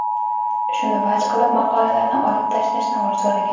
Shuni vaj qilib, maqolalarni olib tashlashni so‘ragan.